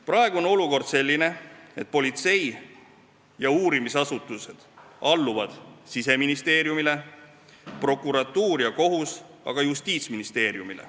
Praegu on olukord selline, et politsei ja uurimisasutused alluvad Siseministeeriumile, prokuratuur ja kohus aga Justiitsministeeriumile.